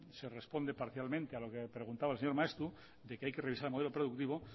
se responde parcialmente a lo que preguntaba el señor maeztu de que hay que revisar el modelo productivo